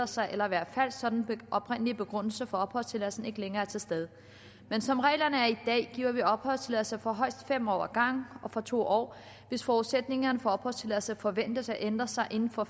sig at være falsk så den oprindelige begrundelse for opholdstilladelsen ikke længere er til stede men som reglerne er i dag giver vi opholdstilladelse for højst fem år ad gangen og for to år hvis forudsætningerne for opholdstilladelse forventes at ændre sig inden for